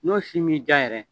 N'o si m'i diya yɛrɛ